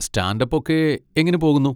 Stand up ഒക്കെ എങ്ങനെ പോകുന്നു?